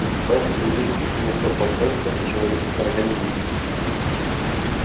представь что весь метрополитен это человеческий организм